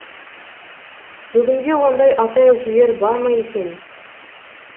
бүгінде ондай ата әжелер бар ма екен